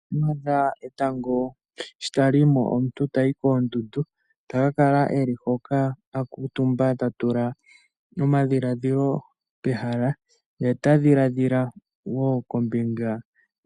Shampa wa adha etango sho tali yi mo omuntu tayi koondundu ta ka kala e li hoka a kuutumba ta tula omadhiladhilo pehala ye ta dhiladhila wo kombinga